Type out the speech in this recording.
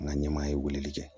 An ka ɲɛmaa ye weleli kɛ